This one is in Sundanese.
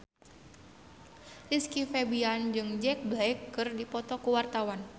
Rizky Febian jeung Jack Black keur dipoto ku wartawan